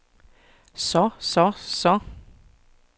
så så så